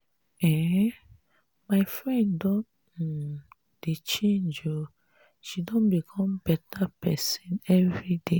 um my friend don um dey change o she dey become beta pesin everyday.